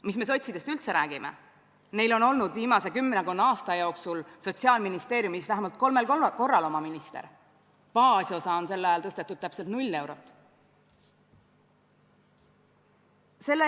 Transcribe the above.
Sotsidest ärme üldse räägi, neil on olnud viimase kümmekonna aasta jooksul Sotsiaalministeeriumis vähemalt kolmel korral oma minister, baasosa on sel ajal tõstetud täpselt 0 eurot.